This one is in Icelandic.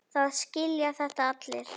Það skilja þetta allir.